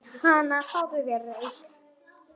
Hana, fáðu þér reyk